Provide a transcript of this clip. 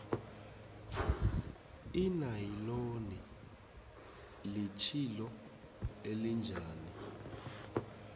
inayiloni litjhilo elinjani